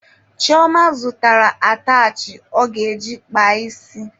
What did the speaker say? Chioma zụtara atachị ọ ga-eji kpaa isi.